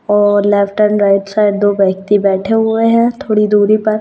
और left and right side दो व्यक्ति बैठे हुए हैं थोड़ी दूरी पर।